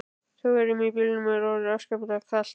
Þjóðverjunum í bílnum er orðið afskaplega kalt.